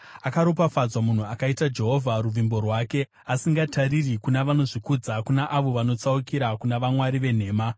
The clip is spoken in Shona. Akaropafadzwa munhu akaita Jehovha ruvimbo rwake, asingatariri kuna vanozvikudza, kuna avo vanotsaukira kuna vamwari venhema.